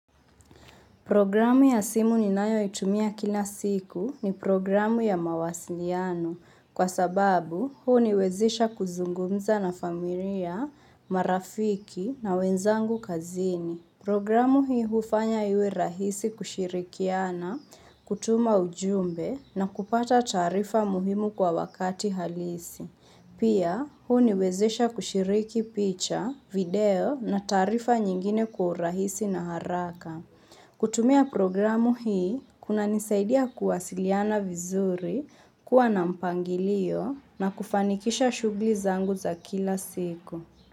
Programu ya simu ninayo itumia kila siku ni programu ya mawasiliano kwa sababu huniwezesha kuzungumza na familia, marafiki na wenzangu kazini. Programu hii hufanya iwe rahisi kushirikiana, kutuma ujumbe na kupata taarifa muhimu kwa wakati halisi. Pia huniwezesha kushiriki picha, video na taarifa nyingine kwa urahisi na haraka. Kutumia programu hii, kuna nisaidia kuwasiliana vizuri, kuwa na mpangilio na kufanikisha shughuli zangu za kila siku.